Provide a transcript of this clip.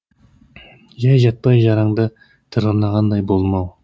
жай жатпай жараңды тырнағандай болдым ау